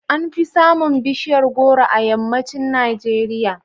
An fi samun bishiyar goro a yammacin Najeriya.